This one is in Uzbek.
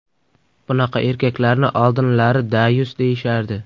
Bunaqa erkaklarni oldinlari dayus deyishardi.